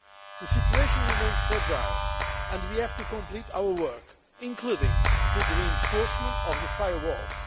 The situation remains fragile and we have to complete our work, including the reinforcement of the firewalls.